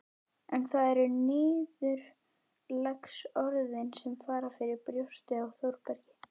En það eru niðurlagsorðin sem fara fyrir brjóstið á Þórbergi